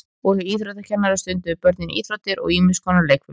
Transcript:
Og hjá íþróttakennara stunduðu börnin íþróttir og ýmis konar leikfimi.